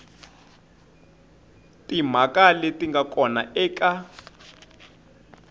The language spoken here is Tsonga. timhaka leti nga kona eka